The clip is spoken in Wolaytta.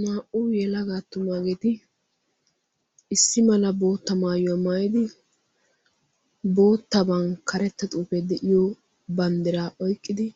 Naa'u yelagaa attumaageeti issi mala bootta maayuwaa maayidi boottaban karetta xuufee de'iyo banddiraa oyqqidi